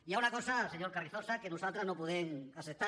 hi ha una cosa senyor carrizosa que nosaltres no podem acceptar